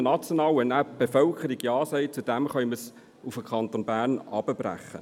Wenn die Bevölkerung dann Ja dazu sagt, können wir es auf den Kanton Bern herunterbrechen.